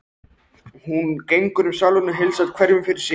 Hún gengur um salinn og heilsar hverjum fyrir sig.